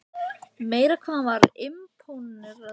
Meira hvað hann var impóneraður af matnum hjá mér.